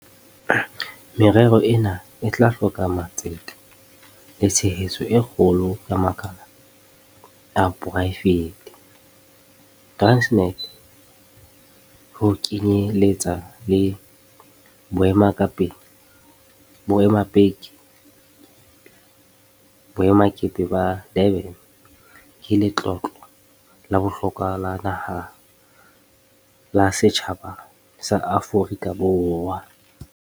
Merero ena e tla hloka matsete le tshehetso e kgolo ya makala a poraefete. Transnet, ho kenye letsa le boemakepe ba Durban, ke letlotlo la bohlokwa la naha la setjhaba sa Aforika Borwa.